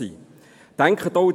Denken Sie daran: